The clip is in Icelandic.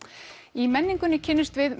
í menningunni kynnumst við